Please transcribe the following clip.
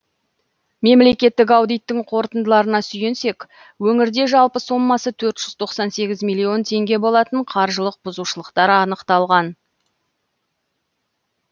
мемлекеттік аудиттің қорытындыларына сүйенсек өңірде жалпы сомасы төрт жүз тоқсан сегіз миллион теңге болатын қаржылық бұзушылықтар анықталған